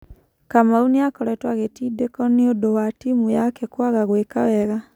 Kamau nĩ akoretwo agĩtindĩko nĩundũ wa timũ yake kwaga gwĩka wega.